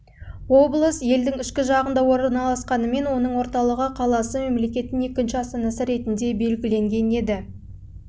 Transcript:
облысы елдің ішкі жағында орналасқанымен оның орталығы қаласы мемлекеттің екінші астанасы ретінде белгіленген еді